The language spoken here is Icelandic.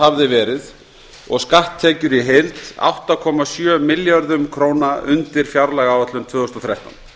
hafði verið og skatttekjur í heild átta komma sjö milljörðum króna undir fjárlagaáætlun tvö þúsund og þrettán